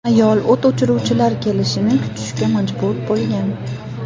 Ayol o‘t o‘chiruvchilar kelishini kutishga majbur bo‘lgan.